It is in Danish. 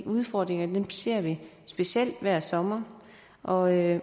udfordringerne ser vi specielt hver sommer og jeg